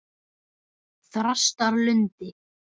Þrastarlundi